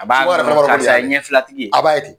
A b'a karisa ye ɲɛ fila tigi ye. A b'a te ten.